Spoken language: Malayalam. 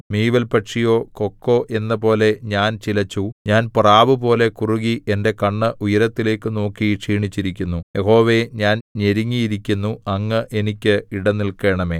മീവൽപക്ഷിയോ കൊക്കോ എന്നപോലെ ഞാൻ ചിലച്ചു ഞാൻ പ്രാവുപോലെ കുറുകി എന്റെ കണ്ണ് ഉയരത്തിലേക്കു നോക്കി ക്ഷീണിച്ചിരിക്കുന്നു യഹോവേ ഞാൻ ഞെരുങ്ങിയിരിക്കുന്നു അങ്ങ് എനിക്ക് ഇട നില്‍ക്കണമേ